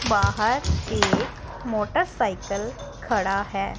बाहर एक मोटरसाइकिल खड़ा है।